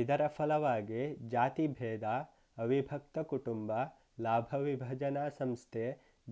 ಇದರ ಫಲವಾಗಿ ಜಾತಿಭೇದ ಅವಿಭಕ್ತಕುಟುಂಬ ಲಾಭವಿಭಜನಾ ಸಂಸ್ಥೆ